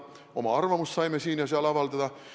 Oma arvamust saime vaid siin ja seal avaldada.